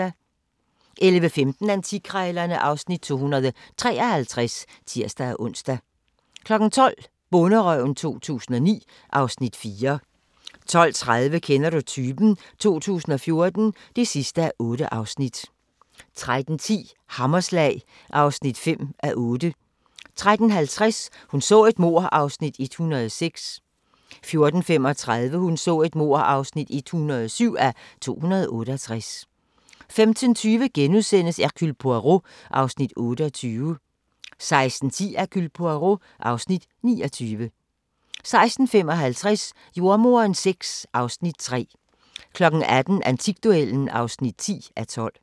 11:15: Antikkrejlerne (Afs. 253)(tir-ons) 12:00: Bonderøven 2009 (Afs. 4) 12:30: Kender du typen? 2014 (8:8) 13:10: Hammerslag (5:8) 13:50: Hun så et mord (106:268) 14:35: Hun så et mord (107:268) 15:20: Hercule Poirot (Afs. 28)* 16:10: Hercule Poirot (Afs. 29) 16:55: Jordemoderen VI (Afs. 3) 18:00: Antikduellen (10:12)